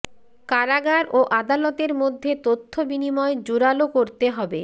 কারাগার ও আদালতের মধ্যে তথ্য বিনিময় জোরালো করতে হবে